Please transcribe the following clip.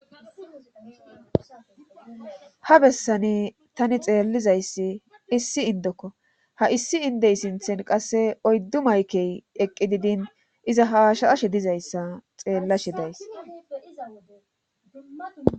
ha bessani tani xeellizayssi issi indokko ha issi indey sinthen qasse oyddu maykey eqqi didin iza haashaashe dizayssa xeellashe days